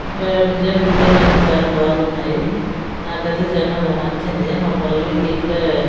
okay design గిజైన్ అన్ని చాలా బాగున్నాయి నాకు అయితే చానా బాగా నచ్చింది మా పల్లవికి ఇట్లే --